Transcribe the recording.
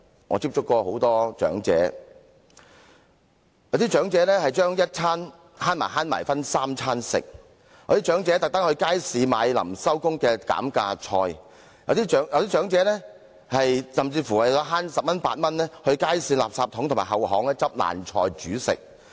我曾接觸很多長者，有些長者要省着吃，將一餐的錢分作三餐；有些長者特地到街市購買收市前的減價菜；有些長者甚至為了節省十元八塊而到街市的垃圾桶或後巷撿爛菜煮食。